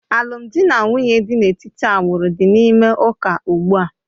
Alụmdi na nwunye dị n'etiti agbụrụ dị n'ime ụka ugbu a